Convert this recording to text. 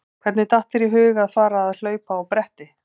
Hvernig datt þér í hug að fara að hlaupa á bretti?